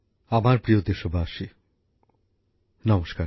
আমার প্রিয় দেশবাসী নমস্কার